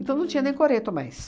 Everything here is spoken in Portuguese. Então, não tinha nem coreto mais.